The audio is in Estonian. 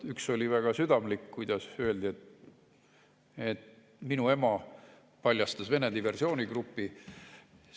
Üks oli väga südamlik: öeldi, et minu ema paljastas Vene diversioonigruppi.